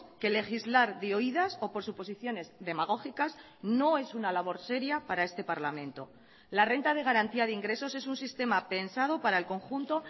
que legislar de oídas o por suposiciones demagógicas no es una labor seria para este parlamento la renta de garantía de ingresos es un sistema pensado para el conjunto